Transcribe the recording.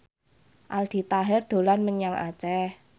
Aldi Taher dolan menyang Aceh